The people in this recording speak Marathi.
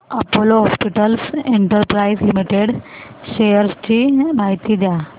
Apollo hospitals enterprise limited shares ची माहिती द्या